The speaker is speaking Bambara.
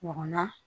Ɲɔgɔn na